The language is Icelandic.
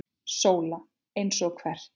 SÓLA: Eins og hvert?